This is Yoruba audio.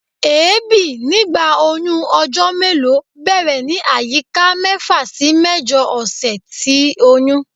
Èébi nigba oyun ojo melo bẹrẹ ni ayika mefa si mẹjọ ọsẹ ti oyun